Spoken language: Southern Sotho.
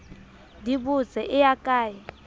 di botse e ya kae